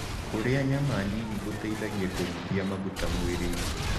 Kũrĩa nyama nĩnĩ gũteĩthagĩa kũnyĩhĩa magũta mwĩrĩĩnĩ